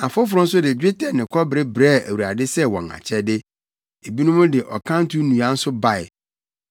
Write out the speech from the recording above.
Afoforo nso de dwetɛ ne kɔbere brɛɛ Awurade sɛ wɔn akyɛde. Ebinom de ɔkanto nnua nso bae.